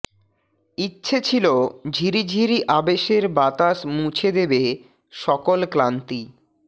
ইচ্ছে ছিল ঝিরিঝিরি আবেশের বাতাস মুছে দেবে সকল ক্লান্তি